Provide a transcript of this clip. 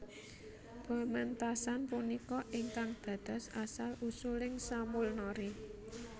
Pementasan punika ingkang dados asal usuling Samulnori